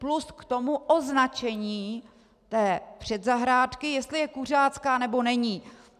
Plus k tomu označení té předzahrádky, jestli je kuřácká, nebo není.